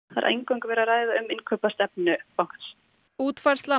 það er eingöngu verið að ræða um innkaupastefnu bankans útfærsla